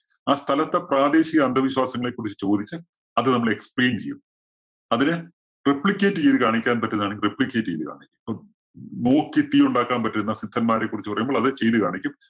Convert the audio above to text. ആ സ്ഥലത്തെ പ്രാദേശിക അന്ധവിശ്വാസങ്ങളെക്കുറിച്ച് ചോദിച്ച് അത് നമ്മള് explain ചെയ്യും. അതിനെ replicate ചെയ്ത് കാണിക്കാൻ പറ്റുന്നതാണെങ്കില്‍ replicate ചെയ്തു കാണിക്കും. ഇപ്പോ മൂക്കിൽ തീ ഉണ്ടാക്കാൻ പറ്റുന്ന സിദ്ധന്മാരെ കുറിച്ച് പറയുമ്പോൾ അത് ചെയ്തു കാണിക്കും.